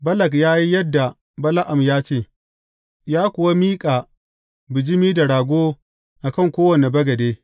Balak ya yi yadda Bala’am ya ce, ya kuwa miƙa bijimi da rago a kan kowane bagade.